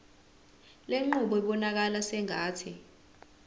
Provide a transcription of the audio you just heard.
lenqubo ibonakala sengathi